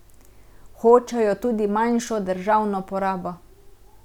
Hočejo tudi manjšo državno porabo.